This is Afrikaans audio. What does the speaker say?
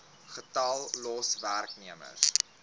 getal los werknemers